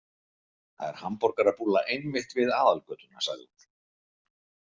Það er hamborgarabúlla einmitt við aðalgötuna, sagði hún.